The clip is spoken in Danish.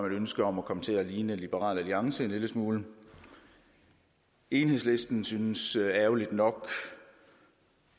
et ønske om at komme til at ligne liberal alliance en lille smule enhedslisten synes ærgerligt nok